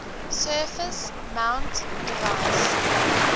surface mount device